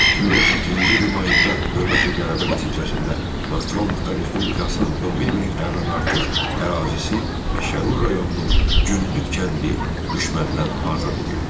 2018-ci ilin mayında növbəti qələbə nəticəsində Naxçıvan Muxtar Respublikasının 11000-dən artıq ərazisi və Şərur rayonunun Günnüt kəndi düşməndən azad edildi.